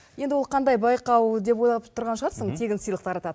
енді ол қандай байқау деп ойлап тұрған шығарсың тегін сыйлық тарататын